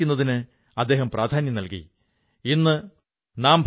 ഈ വനിതകൾ Aajeevika farm fresh എന്ന പേരിൽ ഒരു ആപ് ഉണ്ടാക്കിച്ചു